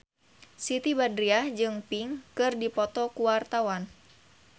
Siti Badriah jeung Pink keur dipoto ku wartawan